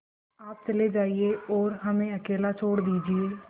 आप चले जाइए और हमें अकेला छोड़ दीजिए